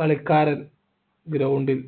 കളിക്കാരൻ ground ൽ